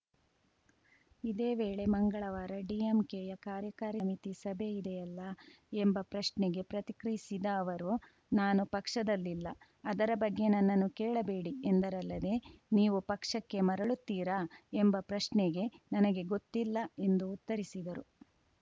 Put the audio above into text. ಇದೇ ವೇಳೆ ಮಂಗಳವಾರ ಡಿಎಂಕೆಯ ಕಾರ್ಯಕಾರಿ ಸಮಿತಿ ಸಭೆ ಇದೆಯಲ್ಲ ಎಂಬ ಪ್ರಶ್ನೆಗೆ ಪ್ರತಿಕ್ರಿಯಿಸಿದ ಅವರು ನಾನು ಪಕ್ಷದಲ್ಲಿಲ್ಲ ಅದರ ಬಗ್ಗೆ ನನ್ನನ್ನು ಕೇಳಬೇಡಿ ಎಂದರಲ್ಲದೆ ನೀವು ಪಕ್ಷಕ್ಕೆ ಮರಳುತ್ತೀರಾ ಎಂಬ ಪ್ರಶ್ನೆಗೆ ನನಗೆ ಗೊತ್ತಿಲ್ಲ ಎಂದು ಉತ್ತರಿಸಿದರು